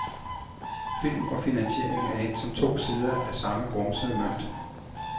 Film og finansiering er endt som to sider af samme grumsede mønt.